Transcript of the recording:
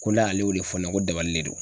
Ko n'ale y'o de fɔ ɲɛna ko dabalilen don.